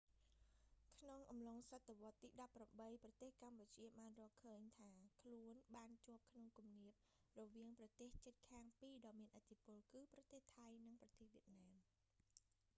ក្នុងអំឡុងសតវត្សរ៍ទី 18 ប្រទេសកម្ពុជាបានរកឃើញថាខ្លួនបានជាប់ក្នុងគំនាបរវាងប្រទេសជិតខាងពីរដ៏មានឥទ្ធិពល គឺប្រទេសថៃ និងប្រទេស វៀតណាម